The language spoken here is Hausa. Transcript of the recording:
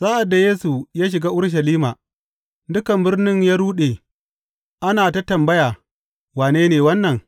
Sa’ad da Yesu ya shiga Urushalima, dukan birnin ya ruɗe, ana ta tambaya, Wane ne wannan?